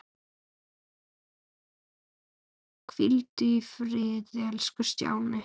Hvíldu í friði elsku Stjáni.